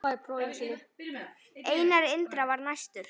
Einar Indra var næstur.